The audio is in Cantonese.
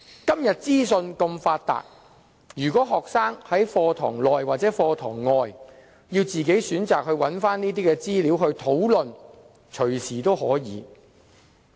今天資訊如此發達，學生隨時可在課堂內外自行選擇有關資料來討論。